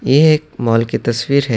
یہ ایک مال کی تصویر ہے۔